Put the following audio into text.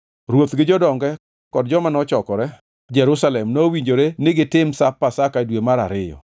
Ruoth gi jodonge kod joma nochokore Jerusalem nowinjore ni gitim Sap Pasaka e dwe mar ariyo.